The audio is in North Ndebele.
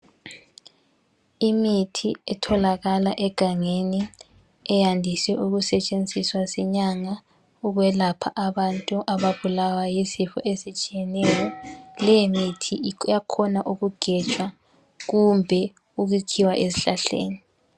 Imithi etholakala egangeni eyandiswe ukusetshenziswa sinyanga ukwelapha abantu ababulawa yizifo ezitshiyeneyo leyo mithi iyakhona ukugetshwa kumbe ukutshiwa ezihlahleni